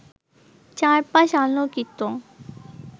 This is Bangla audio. চার পাশ আলোকিত